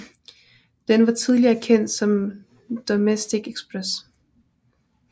Den var tidligere kendt som Domestic Express